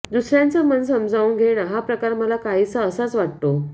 दुसऱ्याचं मन समजावून घेणं हा प्रकार मला काहीसा असाच वाटतो